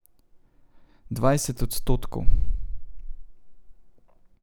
Dvajset odstotkov.